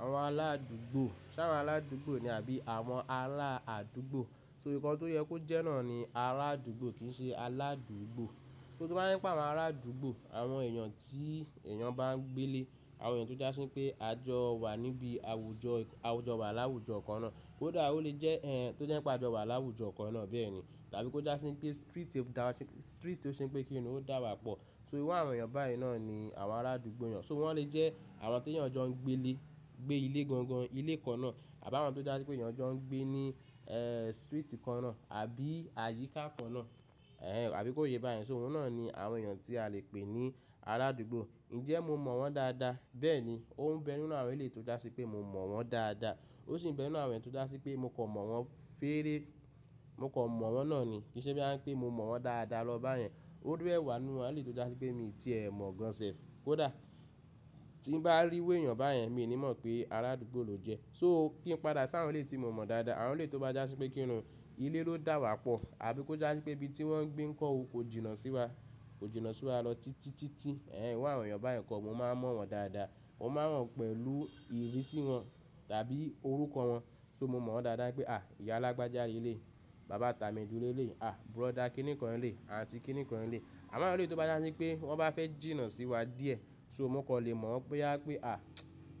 Àwọn aládùúgbò, sáwon aládùúgbò ni àbí àwọn ara àdúgbò. So ìkán tó yẹ kó jẹ́ náà ni ara àdúgbò kì í ṣe aládùúgbò. Tó bá je pe awon ara àdúgbò, àwọn èèyàn tí èèyàn bá ń gbé le, àwọn èèyàn tó jàsí pé a jọ wà níbi àwùjọ, àwùjọ ajo wà láwùjọ kan náà. Kódà ó lè jẹ́ ẹ́hẹ́n tó jẹ́ npe a jọ wà láwùjọ kan náà bẹ́ẹ̀ni, tàbí kó jàsí pé street ó se ń pé kíni o dàwà pọ̀. So iru àwọn èèyàn báyìí náà ni àwọn ara àdúgbò yan. So wọ́n lè jẹ́ àwọn teyan jọ ń gbé le, gbé ilé gangan ilé kan náà tàbí àwọn tó jàsí pé eyan jo ń gbé ní ẹ́ẹ́ street kan náà àbí àyíká kan náà. Ẹ̀hẹ́n àbí kó yẹ báyen. So oun náà ni àwọn èèyàn tí a lè pè ní ara àdúgbò. Ǹjẹ́ mo mọ̀ wọ́n dáadáa? Bẹ́ẹ̀ni, ó ń bẹ ninú àwọn elẹ̀yi tó jàsí pé mo mọ̀ wọ́n dáadáa. Ó sì ń bẹ inú àwọn èèyàn tó jàsí pé mo kò mọ̀ wọ́n, féèrè mo kò mọ̀ wọ́n náà ni. Kìí ṣe boya ń pé mo mọ̀ wọ́n dáadáa lọ bá yẹn. Ó de wà inú àwọn eleyi tó jasí pé mi ti ẹ mọ̀ gan sẹ́f. Kódà tí n bá rí iru èèyàn bá yẹn mi mi ní mọ̀ pé ara àdúgbò ló jẹ. So kí n padà sá àwọn eleyi tí mo mọ̀ dáadáa. Àwọn eleyi tó bá jàsí pé kírun ilé ló dàwà pọ̀ àbí kó jàsí pé ibi tí wọ́n ń gbé ń kọ́ o kò jìnnà sí wa, kò jìnnà sí wa lọ títí títí. Ẹ̀hẹ́n iru àwọn èèyàn báyi n kọ́ mo máa n mọ̀ wọ́n dáadáa. Mo máa mọ̀ wọ́n pẹ̀lú ìrísí wọn tàbí orúkọ wọn. So mo mọ̀ wọ́n dáadáa pé à ìyá lágba ja lẹ́leyi, bàbá tàmedo léléyi, à brọ̀dá kíní kan ń léleyi anti kini kan n leleyi. Àmo awon iru eyi tó bá jàsí pé wọ́n bá fẹ́ jìnnà sí wa díẹ̀, so mo kòn lè mọ̀ wọ́n pé boya pé à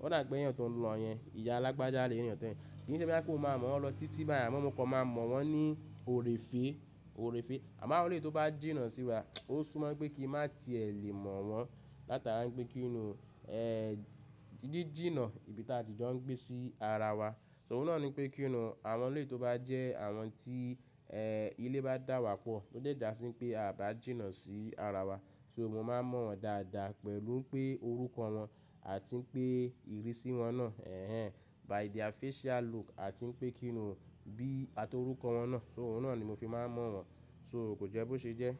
ó dà pé èèyàn tó ń lọ yẹn, ìyá lágba ja lẹ́ èèyàn tó n lo yẹn. Kìí ṣe boya pé o máa mọ̀ wọ́n lọ títí báyìí. Àmọ́ mo kò máa mọ̀ wọ́n ní òrè fe, òrè fe. Àmọ́ àwọn iru eyi tó bá jìnnà sí wa, ó súnmọ́ pé kí n má ti ẹ lè mọ̀ wọ́n látara pé kínu ẹ́ẹ́ jìjinà ibi tí a ti jọ ń gbé sí ara wa. So oun náà ni pé kínu àwọn eleyi tó bá jẹ́ àwọn tí ẹ́ẹ́ ilé bá dàwà pọ̀ tó dẹ́ jàsí pé a bá jìnnà sí ara wa. So mo máa n mọ̀ wọ́n dáadáa pẹ̀lú pé orúkọ wọn àti pé ìrísí wọn náà. Ẹ̀hẹ́n by their facial look àti n pé kírun bí atọ́ orúkọ wọn náà. So oun náà ni mo fi máa n mọ̀ wọ́n. So o kò jẹ́ bó ṣe jẹ́.